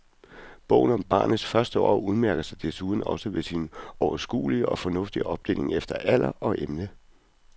Bogen om barnets første år udmærker sig desuden også ved sin overskuelige og fornuftige opdeling efter alder og emne.